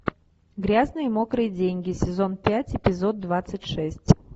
грязные мокрые деньги сезон пять эпизод двадцать шесть